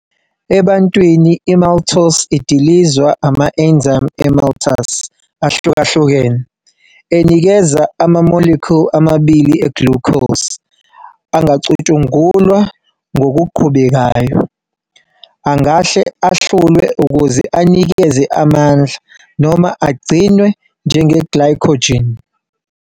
Ebantwini i-maltose idilizwa ama-enzyme e-maltase ahlukahlukene, enikeza ama-molecule amabili eglucose angacutshungulwa ngokuqhubekayo- angahle ahlulwe ukuze anikeze amandla, noma agcinwe njenge-glycogen.